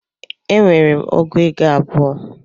E nwere m ọgụego abụọ